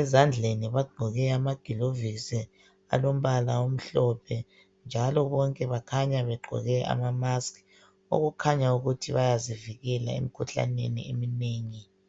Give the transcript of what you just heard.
Ezandleni bagqoke amagilovisi alombala omhlophe, njalo bonke bakhanya begqoke ama musk, okukhanya ukuthi bayazivikela emkhuhlaneni eminengi.